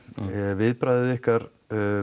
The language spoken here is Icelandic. viðbragðið ykkar